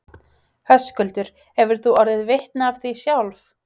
Höskuldur: Hefur þú orðið vitni af því sjálf?